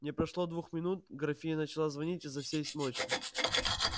не прошло двух минут графиня начала звонить изо всей смочи